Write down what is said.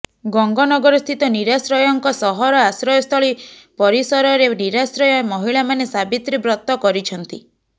ଗଙ୍ଗନଗରସ୍ଥିତ ନିରାଶ୍ରୟଙ୍କ ସହର ଆଶ୍ରୟସ୍ଥଳୀ ପରିସରରେ ନିରାଶ୍ରୟ ମହିଳାମାନେ ସାବିତ୍ରୀ ବ୍ରତ କରିଛନ୍ତି